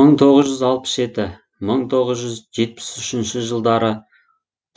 мың тоғыз жүз алпыс жеті мың тоғыз жүз жетпіс үшінш жылдары